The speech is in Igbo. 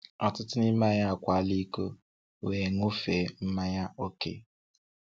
Ọtụtụ nime anyị akwaala ìkó wee ṅụfee mmanya ókè.